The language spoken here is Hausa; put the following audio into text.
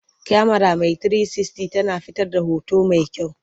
Kyamara mai 360 tana fitar da hoto mai kyau.